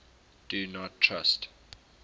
do not trust